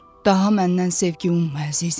Daha məndən zövq umma əzizim.